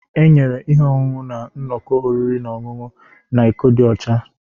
Enyere ihe ọṅụṅụ na nnọkọ oriri na ọṅụṅụ na iko dị ọcha.